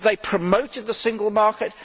Have they promoted the single market?